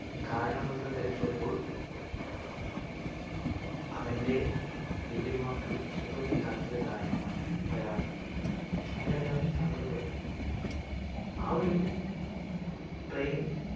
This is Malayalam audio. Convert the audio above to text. കാരണമെന്തെന്ന് തെരക്കിയപ്പോൾ അവൻ്റെ വല്യമ്മക്ക് സുഖമില്ലാത്തത് കാരണമാണ് വരാത്തത് അങ്ങനെ എല്ലാവരും സങ്കടപ്പെട്ട് ആ ഒരു train